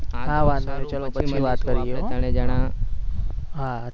હા ચાલો પછી વાત કરીએ આપડે ત્રણે જનાં હા